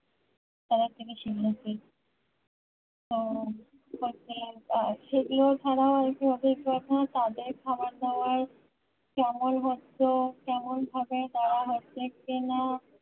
তাড়াতাড়ি শিখবে সেটিও ছাড়া হয়তো অনেক কথা তাদের খাবার দাবার যেমন হতো তেমন ভাবে তারা হচ্ছে কিনা